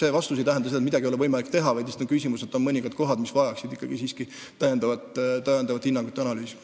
See vastus ei tähenda seda, et midagi ei ole võimalik teha, vaid lihtsalt küsimus on selles, et on mõningad kohad, mis vajaksid veel hinnangut ja analüüsi.